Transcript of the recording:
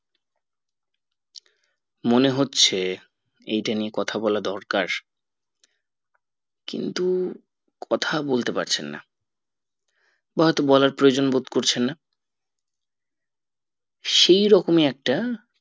মনে হচ্ছে ইটা নিয়ে কথা বলা দরকার কিন্তু কথা বলতে পারছেন না বা হয়তো বলার প্রয়োজনবোধ করছেন না সেই রকমই একটা